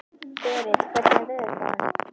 Berit, hvernig er veðurspáin?